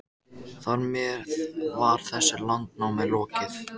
Þar með var þessu landnámi lokið.